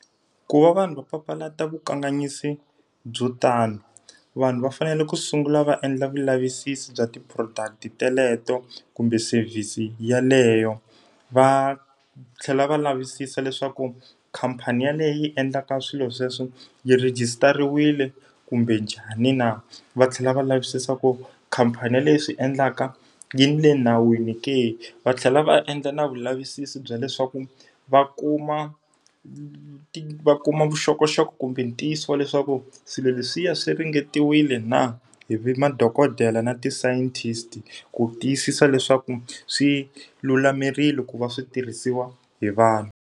Ku va vanhu va papalata vukanganyisi byo tani, vanhu va fanele ku sungula va endla vulavisisi bya ti-product teleto kumbe service yeleyo. Va va tlhela va lavisisa leswaku khamphani yaleyo yi endlaka swilo sweswo yi rhejisitariwile kumbe njhani na. Va tlhela va lavisisa ku khamphani yaleyi yi swi endlaka, yi le nawini ke. Va tlhela va endla na vulavisisi bya leswaku va kuma va kuma vuxokoxoko kumbe ntiyiso wa leswaku swilo leswiya swi ringetiwile na hi madokodela na ti-scientist, ku tiyisisa leswaku swi lulamerile ku va switirhisiwa hi vanhu.